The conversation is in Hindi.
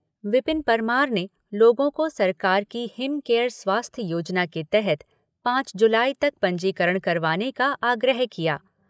विपिन परमार ने लोगों को सरकार की हिम केयर स्वास्थ्य योजना के तहत पाँच जुलाई तक पंजीकरण करवाने का आग्रह किया।